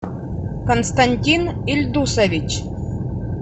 константин ильдусович